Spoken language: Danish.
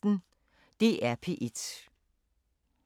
DR P1